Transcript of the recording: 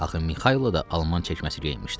Axı Mixaylo da alman çəkməsi geyinmişdi.